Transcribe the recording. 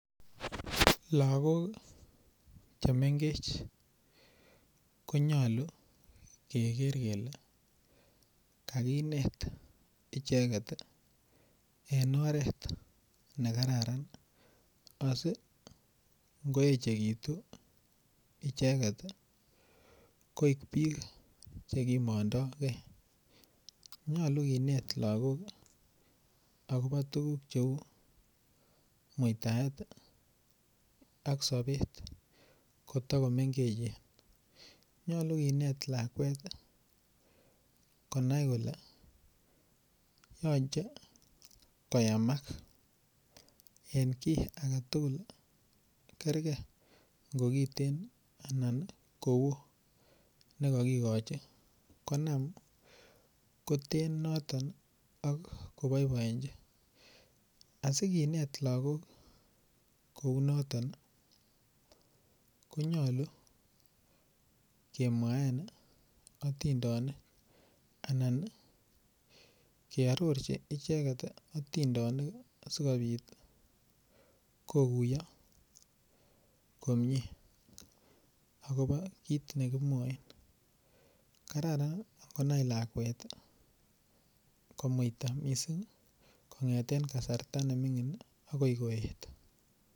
Lagok chemengech konyolu keker kele kakinet icheket en oret nekararan asingiechekitu icheket koik bik chekimondo kee, nyolu kinet lagok akobo tuguk cheu muitaet ak sobet kotokomengechen, nyolu kinet lakwet konai kole yoche koyamak en kit aketugul kerker ngo kiten anan kowo nekokikochi konam koten noton ok koboiboechin inendet, asikinet lagok kou notok ii konyolu kemwaen otindonik anan keororchin icheket otindonik sikobit kokkuyo komie akobo kit nekimwoe kararan ingonai lakwet komuita missing' kongeten kasarta nemingin akoi koet.